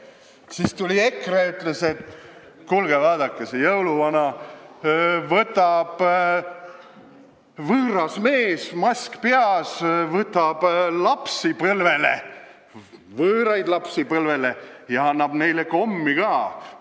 Siis tuli EKRE ja ütles, et kuulge, vaadake seda jõuluvana: võõras mees, mask peas, võtab võõraid lapsi põlvele ja annab neile kommi ka.